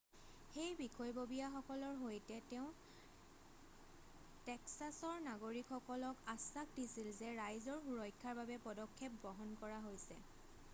সেই বিষয়ববীয়াসকলৰ সৈতে তেওঁ টেক্সাছৰ নাগৰিকসকলক আশ্বাস দিছিল যে ৰাইজৰ সুৰক্ষাৰ বাবে পদক্ষেপ গ্ৰহণ কৰা হৈছে